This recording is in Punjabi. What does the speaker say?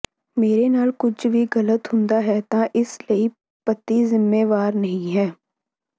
ਮੇਰੇ ਨਾਲ ਕੁਝ ਵੀ ਗਲਤ ਹੁੰਦਾ ਹੈ ਤਾਂ ਇਸ ਲਈ ਪਤੀ ਜ਼ਿੰਮੇਵਾਰ ਨਹੀਂ ਹੈ